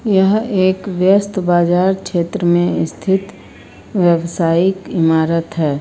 यह एक व्यस्त बाजार क्षेत्र में स्थित व्यावसायिक इमारत है।